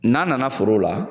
N'an nana foro la